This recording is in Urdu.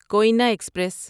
کوینا ایکسپریس